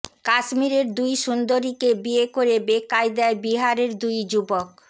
কাশ্মীরের দুই সুন্দরীকে বিয়ে করে বেকায়দায় বিহারের দুই যুবক